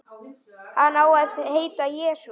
Hann á að heita Jesú.